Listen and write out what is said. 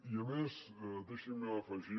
i a més deixin me afegir